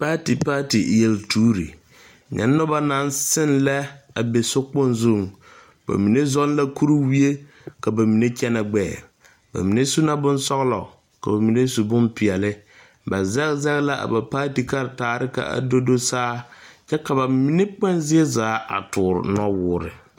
Paati paati yeltuuri , nyɛ noba naŋ seŋ lɛ a be sokpoŋ zuŋ, ba mine zeŋ la kuriwie ka ba mine kyɛne gbɛɛ, ba mine su su la bonsɔlɔ ka ba mine su boma su bon peɛle ba zage zage la a ba paati karatarre ka o do saa kyɛ ka ba mine kpoŋ zie zaa a toori nɔ wɔre